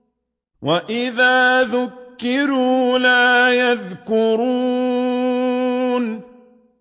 وَإِذَا ذُكِّرُوا لَا يَذْكُرُونَ